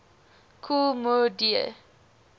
kool moe dee